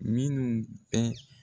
Min bɛ